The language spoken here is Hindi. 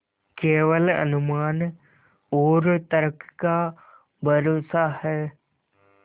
केवल अनुमान और तर्क का भरोसा है